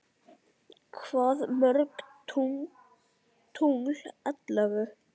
Hvað mörg tungl ellefu?